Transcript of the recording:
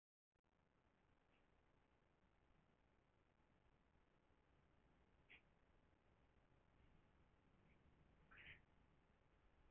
Þeir taka þess vegna ekki tillit til ávinnings annarra þjóðfélagsþegna af viðkomandi fjárfestingu.